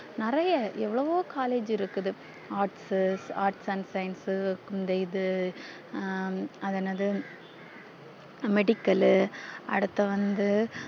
நெறைய எவ்ளோவோ collage இருக்குது arts arts and science இன்தயிது அஹ் அது என்ன இது medical அடுத்து வந்து